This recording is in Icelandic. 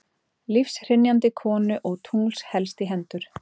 lífshrynjandi konu og tungls helst í hendur